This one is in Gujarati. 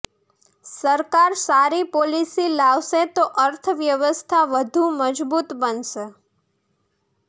સરકાર સારી પોલિસી લાવશે તો અર્થવ્યવસ્થા વધુ મજબૂત બનશે